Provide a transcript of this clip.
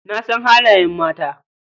Na san halayen mata.